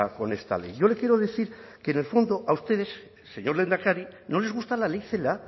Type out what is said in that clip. con esta ley yo le quiero decir que en el fondo a ustedes señor lehendakari no les gusta la ley celaá